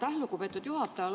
Aitäh, lugupeetud juhataja!